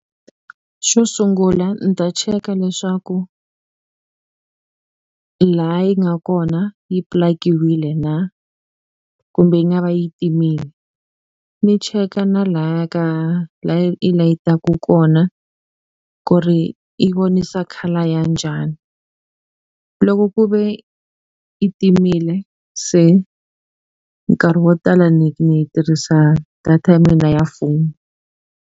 Xo sungula ni ta cheka leswaku laha yi nga kona yi pilakiwile na kumbe yi nga va yi timile ni cheka na laya ka laya yi layitaku kona ku ri i vonisa colour ya njhani loko ku ve i timile se nkarhi wo tala ni ni tirhisa data ya mina ya foni.